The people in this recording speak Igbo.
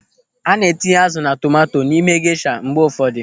A na-etinye azụ na tomanto n'ime gesha mgbe ụfọdụ.